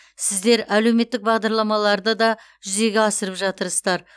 сіздер әлеуметтік бағдарламаларды да жүзеге асырып жатырсыздар